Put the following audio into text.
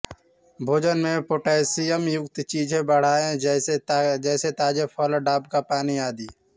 भोजन में पोटाशियम युक्त चीजें बढ़ाएं जैसे ताजे फल डाब का पानी आदि